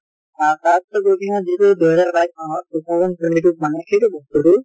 আহ তাৰ পিছত গৈ কিনে যিটো দুই জেহাৰ বাইছ চনত two thousand twenty two ত মানে সেইটো বস্তুটো